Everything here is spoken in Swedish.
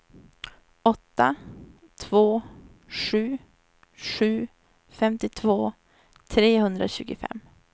åtta två sju sju femtiotvå trehundratjugofem